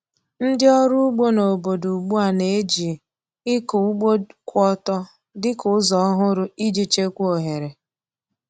Ndị ọrụ ugbo n’obodo ugbu a na-eji ịkụ ugbo kwụ ọtọ dị ka ụzọ ọhụrụ iji chekwaa ohere.